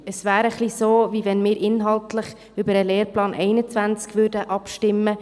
Es wäre, als würden wir inhaltlich über den Lehrplan 21 abstimmen.